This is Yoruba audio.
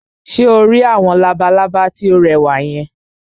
Ṣé o rí àwọn labalábá tí ó rẹwà yẹn?